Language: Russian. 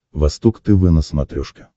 восток тв на смотрешке